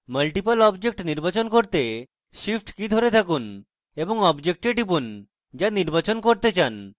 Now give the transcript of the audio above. multiple objects নির্বাচন করতে shift key ধরে থাকুন এবং objects টিপুন to আপনি নির্বাচন করতে চান